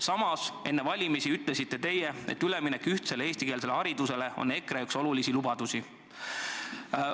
Samas te enne valimisi ütlesite, et üleminek ühtsele eestikeelsele haridusele on üks EKRE olulisi lubadusi.